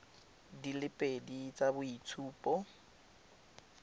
di le pedi tsa boitshupo